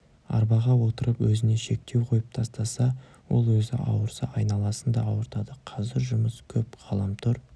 арбаға отырып өзіне шектеу қойып тастаса ол өзі ауырса айналасын да ауыртады қазір жұмыс көп ғаламтор